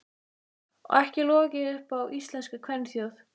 Og ekki logið upp á íslenska kvenþjóð.